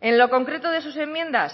en lo concreto de sus enmiendas